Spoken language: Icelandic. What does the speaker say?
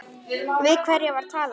Við hverja var talað?